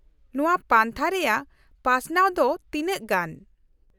-ᱱᱚᱶᱟ ᱯᱟᱱᱛᱷᱟ ᱨᱮᱭᱟᱜ ᱯᱟᱥᱱᱟᱣ ᱫᱚ ᱛᱤᱱᱟᱹᱜ ᱜᱟᱱ ?